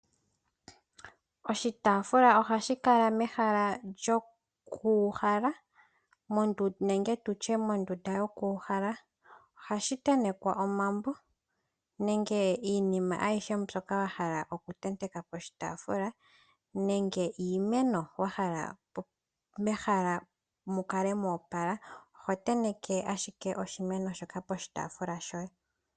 Oshitaafula ohashi kala mehala lyoku uhala nenge tutye mondunda yokuuhala .ohashi tetekwa omambo nenge iinima ayihe mbyoka wahala oku tenteka poshitaafula nenge iimeno wahala mehala mukale mwa opala oho tenteke ashike oshimeno shoka poshitaafula shoye.